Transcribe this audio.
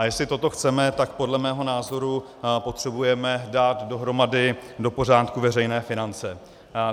A jestli toto chceme, tak podle mého názoru potřebujeme dát dohromady, do pořádku veřejné finance.